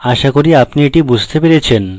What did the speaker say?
আশা করি আপনি এটি বুঝতে পেরেছেন